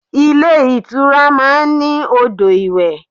Ilé ìtura máa ń ní odò ìwẹ̀.